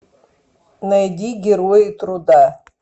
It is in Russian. найди герои труда